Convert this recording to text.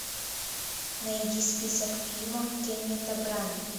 найди список фильмов кеннета брани